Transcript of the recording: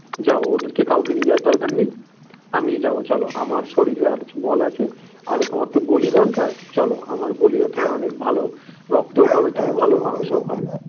যাব ওদের কাউকে নিয়ে যাবার দরকার নেই আমিই যাবো চলো আমার ধৈর্য আর বল আছে তোমার তো বলি দরকার চলো আমার বলিও তোমার অনেক ভালো রক্তও পাবে তুমি ভালো মাংসও পাবে